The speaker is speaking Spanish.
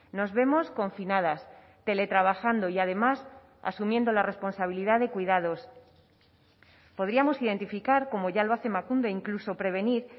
nos vemos confinadas tele trabajando y además asumiendo la responsabilidad de cuidados podríamos identificar como ya lo hace emakunde incluso prevenir